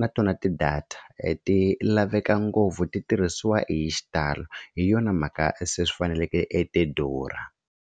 na tona ti-data ti laveka ngopfu ti tirhisiwa hi xitalo hi yona mhaka se swi faneleke e ti durha.